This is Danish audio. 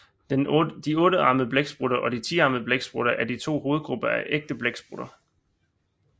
De ottearmede blæksprutter og de tiarmede blæksprutter er de to hovedgrupper af ægte blæksprutter